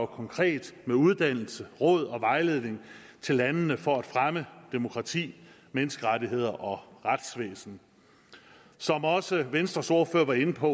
konkret med uddannelse råd og vejledning til landene for at fremme demokrati menneskerettigheder og retsvæsen som også venstres ordfører var inde på